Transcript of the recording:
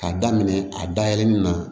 K'a daminɛ a dayɛlɛ nin na